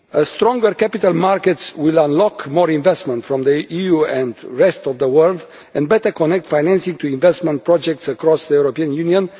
Stronger capital markets will unlock more investment from the EU and the rest of the world, and better connect financing to investment projects across the Union.